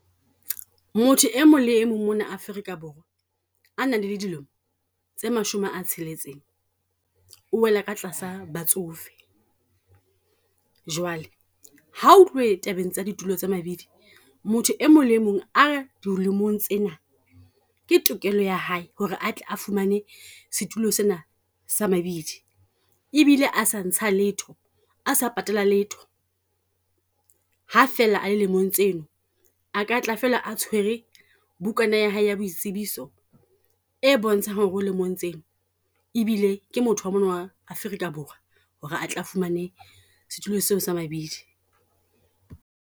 Motho e mong le e mong mona Afrika Borwa, a nang le dilemo tse mashome a tsheletseng, o wela ka tlasa batsofe. Jwale ha o tluwe tabeng tsa ditulo tsa mabidi, motho e mong le mong a di lemong tsena. Ke tokelo ya hae ho re atle a fumane setulo sena sa mabidi, e bile a sa ntsha letho osa patala letho. Ha fela a le lemong tseno, a katla fela a tshwere bukana ya hae ya boitsebiso, e bontshang hore lemong tseo ebile ke motho wa mona wa Afrika Borwa, hore a tle a fumane setulo seo se mabidi.